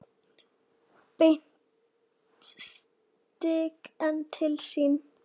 Beint strik inn til sín.